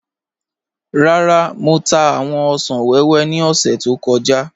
Rárá, Mọ̀ tà awọn òṣan wẹwẹ ni ọ̀ṣẹ̀ tó kọja.